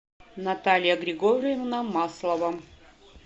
наталья григорьевна маслова